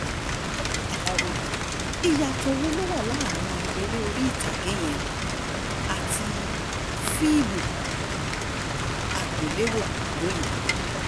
aláròye ìyàtọ̀ wo ló wà láàrin eré orí ìtàgé yẹn àti fíìmù àgbéléwò lòní